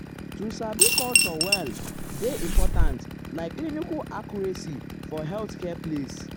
um to sabi culture um well um dey important like clinical accuracy for healthcare place. um